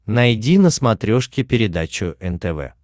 найди на смотрешке передачу нтв